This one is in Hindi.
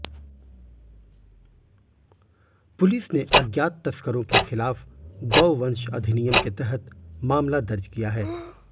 पुलिस ने अज्ञात तस्करों के खिलाफ गौवंश अधिनियम के तहत मामला दर्ज किया है